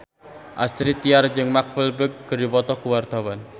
Astrid Tiar jeung Mark Walberg keur dipoto ku wartawan